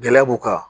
Gɛlɛya b'u kan